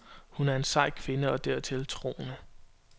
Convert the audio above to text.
Hun er en sej kvinde og dertil troende.